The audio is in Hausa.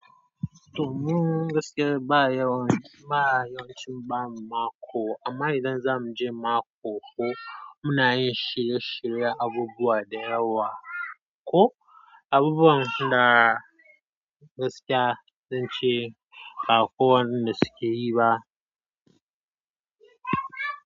To mun gaskiya ba a yawan, ba a yawan cin ba a mako. Amma idan za mu je mako ko muna yi shirye-shiryen abubuwa da yawa ko abubuwan da gaskiya dan ce ba kowanne da suke yi ba.